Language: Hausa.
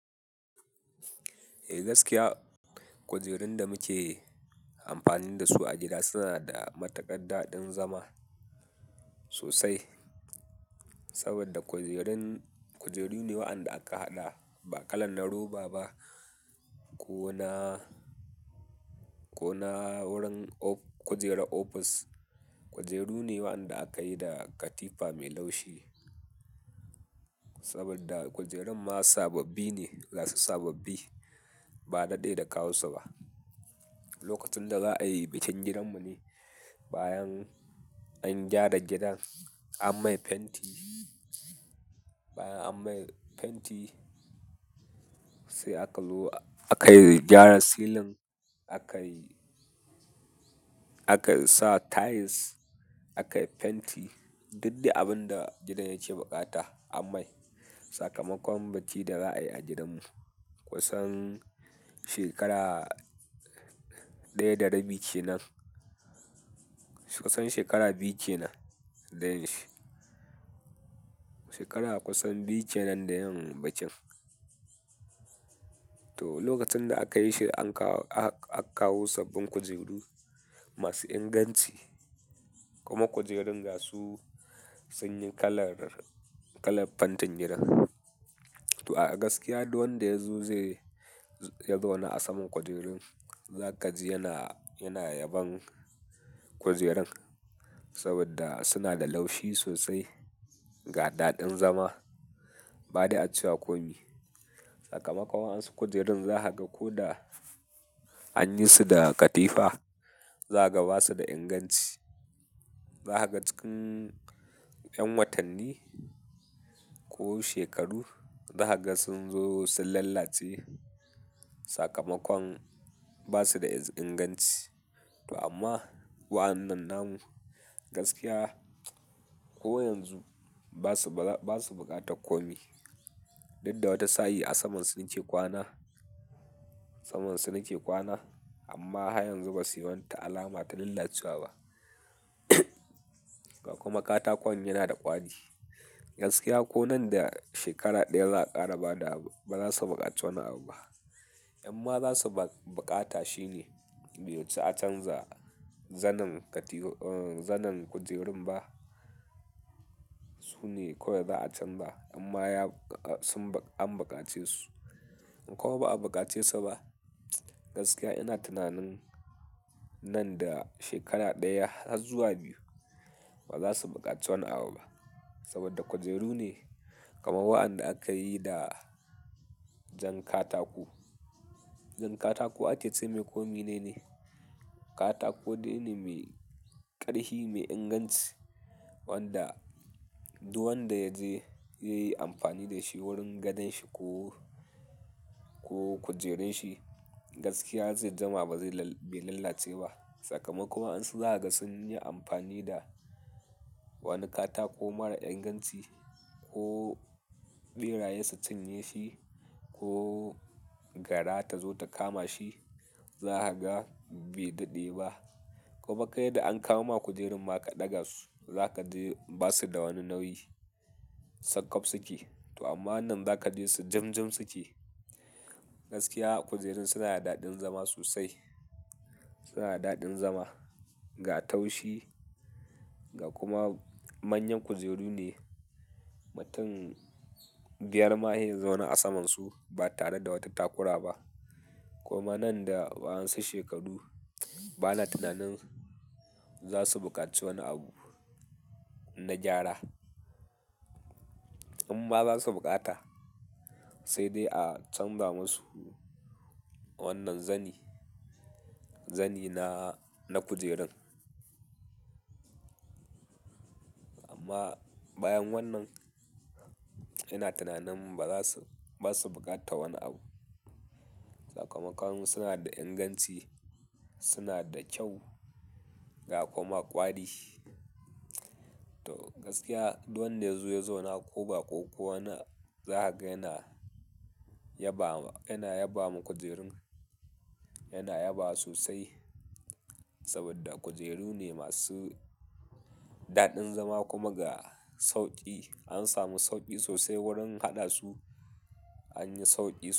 Eh gaskiya, kujerun da muke amfani da su a gida suna da matuƙar daɗin zama sosai. Saboda kujerun-- kujeru ne waɗanda aka haɗa ba kalan na roba ba ko na, ko na wurin of-- kujerar ofis. Kujeru ne waɗanda aka yi da katifa mai laushi. Saboda kujerun ma sababbi ne, masu sababbi ba daɗe da kawo su ba. Lokacin da za a yi bikin gidanmu ne. Bayan an gyara gidan an mai fenti, bayan an mai fenti sai aka lu-- aka gyara silin, aka, aka sa tiles, aka yi fenti. Duk dai abin da gidan yake bukata an mai. Sakamakon bacci da za a yi a gidanmu kusan shekara ɗaya da rabi ce nan. Kusan shekara biyu ke nan. Shekara kusan biyu kenan da yin bakin. To, lokacin da aka yi shi an kawo, aka kawo sabbin kujeru masu inganci kuma kujerun gasu, sun yi kalar, kalar fantin gidan. To a gaskiya duk wanda ya zo zai, ya zauna a saman kujerun, za ka ji yana, yana yaban kujerun saboda suna da laushi sosai, ga daɗin zama. Badai a cewa komai. Sakamakon wa'yansu kujerun za ka ga ko da an yi su da katifa, za ka ga ba su da inganci. Za ka ga cikin 'yan watanni ko shekaru za ka ga sun zo sun lalace. Sakamakon ba su da inganci. To amma waɗannan namu gaskiya ko yanzu ba su, ba su bukata komai. Duk da wata sa'i a saman su nake kwana, saman su suke kwana amma har yanzu ba su yi wata alama ta lalacewa ba. Kuma katakon yana da ƙwari. Gaskiya ko nan da shekara ɗaya za a ƙara bada abu, ba za su buƙaci wani abu ba. Amma za su buƙata shine, be wuce a canza zanin kujerun ba. Su ne kawai za a canza amma ya, sun, an bukace su. Ko ba a bukace su ba, gaskiya ina tunanin nan da shekara ɗaya har zuwa biyu ba za su buƙaci wani abu ba saboda kujeru ne. Kamar waɗanda aka yi da jan katako. Jan katako a ke ce mai komi ne ne. Katako dai ne mai ƙarfi, mai inganci wanda duk wanda ya je ya yi amfani da shi wurin gadon shi ko, ko kujerun shi gaskiya zai jima ba zai bai lalace ba. Sakamakon waɗansu zaka ga sun yi amfani da wani katako mara inganci ko ɓeraye su cinye shi ko gara ta zo ta kama shi. Za ka ga bai daɗe ba. Kuma kai da an kawo ma kujerun ma ka ɗaga su, za ka ji ba su da wani nauyi. Sakof suke to amma wannan za ka ji su jim-jim suke. Gaskiya kujerun suna da daɗin zama sosai. Suna da daɗin zama, ga taushi ga kuma manyan kujeru ne. Mutum biyar ma sai ya zauna a saman su ba tare da wata takura ba. Kuma nan da waɗansu shekaru bana tunanin za su bukaci wani abu na gyara. Amma ba za su bukata sai dai a canza masu wannan zani, zani na, na kujerun. Amma bayan wannan ina tunanin ba za su, ba su bukatan wani abu. Sakamakon suna da inganci, suna da kyau ga kuma ƙwari. To gaskiya duk wanda ya zo ya zauna ko baƙo wani za ka ga yana yaba, yana yaba ma kujerun. Yana yabawa sosai saboda kujeru ne masu daɗin zama kuma ga sauƙi. An samu sauƙi sosai wurin haɗa su. An yi sauƙi.